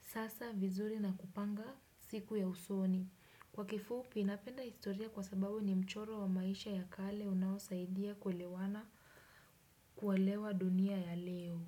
sasa vizuri na kupanga siku ya usoni. Kwa kifupi napenda historia kwa sababu ni mchoro wa maisha ya kale unaosaidia kuelewana kuelewa dunia ya leo.